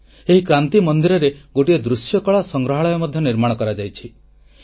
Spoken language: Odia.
ଲାଲକିଲ୍ଲାର କ୍ରାନ୍ତି ମନ୍ଦିରରେ ଗୋଟିଏ ଦୃଶ୍ୟକଳା ସଂଗ୍ରହାଳୟ ମଧ୍ୟ ନିର୍ମାଣ କରାଯାଇଛି